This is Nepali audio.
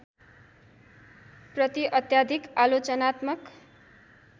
प्रति अत्याधिक आलोचनात्मक